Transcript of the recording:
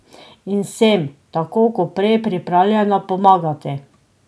In sem, tako kot prej, pripravljena pomagati.